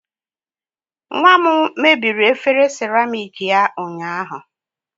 Nwa m mebiri efere seramiiki ya ụnyaahụ